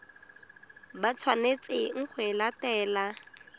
ba tshwanetseng go e latela